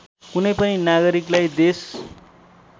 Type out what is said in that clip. कुनै पनि नागरिकलाई देश